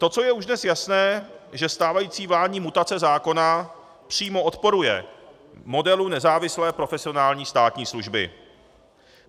To, co je už dnes jasné, že stávající vládní mutace zákona přímo odporuje modelu nezávislé profesionální státní služby.